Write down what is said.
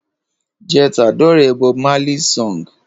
Je t'adore Bob Marley's song